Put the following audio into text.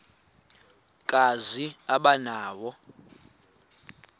kazi aba nawo